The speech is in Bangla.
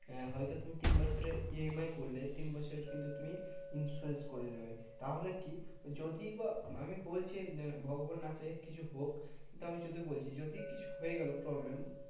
আহ হয়তো তুমি তিন বছরের EMI করলে, তিন বছরের কিন্তু তুমি insurance করে নেবে। তাহলে কি? যদিও বা আমি বলছি ভগবান না করে কিছু হোক। তা আমি যদি বলছি যদি কিছু হয়ে গেলো problem